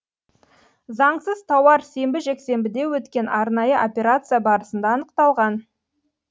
заңсыз тауар сенбі жексенбіде өткен арнайы операция барысында анықталған